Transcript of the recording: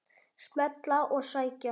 Smella og sækja.